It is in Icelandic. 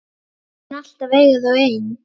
Mun alltaf eiga þau ein.